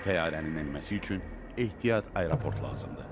Təyyarənin enməsi üçün ehtiyat aeroport lazımdır.